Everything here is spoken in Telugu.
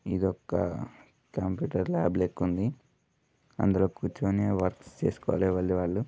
ఇది ఒక్క కంప్యూటర్ ల్యాబ్ లెక్క ఉంది. అందులో కూర్చొని వర్క్ చేసుకోవాలి. ఎవలిది వాళ్ళు.